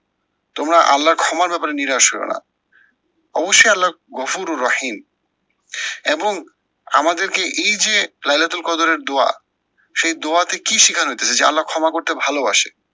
তোমরা আল্লার ক্ষমার ব্যাপারে নিরাশ হয়ো না। অবশ্যই আল্লার গফুর ও রহিম এবং আমাদেরকে এই যে লাইলাদুল কদরের দোয়া, সেই দোয়াতে কি শিখানো হইতেসে যে আল্লা ক্ষমা করতে ভালোবাসে।